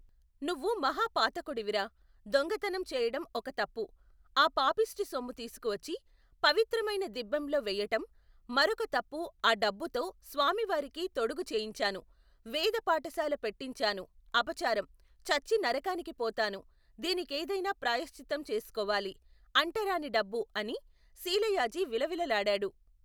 నువ్వు మహా పాతకుడివిరా, దొంగతనం చెయ్యటం ఒక తప్పు, ఆ పాపిష్టి సొమ్ము తీసుకువచ్చి, పవిత్రమైన దిబ్బెంలో వెయ్యటం, మరొక తప్పు ఆ డబ్బుతో, స్వామివారికి తొడుగు చేయించాను, వేద పాఠశాల పెట్టించాను అపచారం, చచ్చి నరికానికి పోతాను దీనికేదన్నా ప్రాయశ్చిత్తం చేసుకోవాలి, అంటరాని డబ్బు అని, శీలయాజి విలవిలలాడాడు.